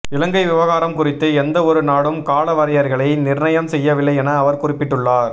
இலங்கை விவகாரம் குறித்து எந்தவொரு நாடும் கால வரையறைகளை நிர்ணயம் செய்யவில்லை என அவர் குறிப்பிட்டுள்ளார்